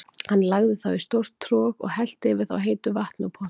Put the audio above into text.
Hann lagði þá í stórt trog og hellti yfir þá heitu vatni úr pottinum.